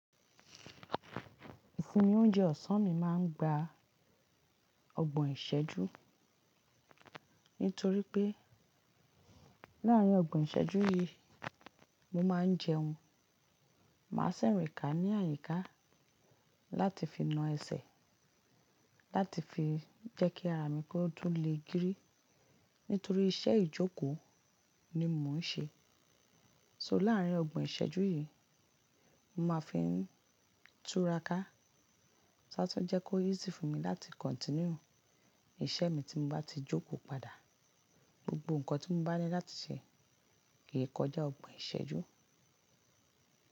Ìfúnmi oúnjẹ ọ̀sán mi máa ń gba ọgbọ̀n ìṣẹ́jú. Nítorí pé láàrín ọgbọ̀n ìṣẹ́jú yìí mo máa ń jẹun. Màá sẹ̀rẹ̀kà ní àyíká láti fi na ẹsẹ̀, láti fi jẹ́kí ara mi kó tùn le girí nítorí iṣẹ́ ìjókòó ni mò ń ṣe. So láàrín ọgbọ̀n ìṣẹ́jú yìí mo máa fi ń túra ká so a tun jẹ́ kó easy fún mi láti continue iṣẹ́ mi tí mo bá ti jókòó padà. Gbogbo nǹkan tí mo bá ní láti ṣe kì í kọjá ọgbọ̀n ìṣẹ́jú.